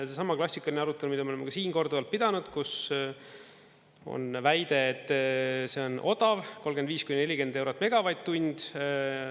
Seesama klassikaline arutelu, mida me oleme ka siin korduvalt pidanud, kus on väide, et see on odav, 35–40 eurot megavatt-tund.